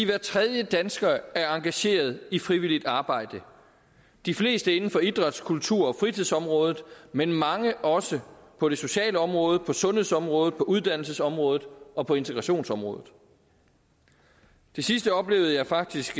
hver tredje dansker er engageret i frivilligt arbejde de fleste inden for idræts kultur og fritidsområdet men mange også på det sociale område på sundhedsområdet på uddannelsesområdet og på integrationsområdet det sidste oplevede jeg faktisk